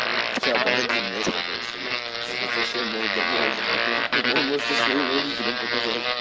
сейчас погоди у меня ещё кое-что есть это совсем молодо молодо бывает она может и своим родителям показать